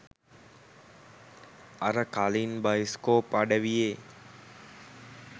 අර කලින් බයිස්කෝප් අඩවියේ